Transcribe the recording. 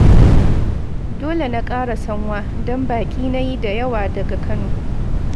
Dole na ƙara sanwa, don baƙi na yi da yawa daga Kano